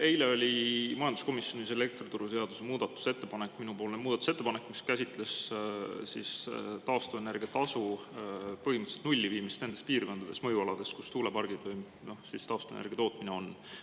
Eile oli majanduskomisjonis elektrituruseaduse muudatusettepanek, minupoolne muudatusettepanek, mis käsitles taastuvenergia tasu põhimõtteliselt nulli viimist nendes piirkondades, mõjualades, kus tuulepargid või taastuvenergia tootmine on.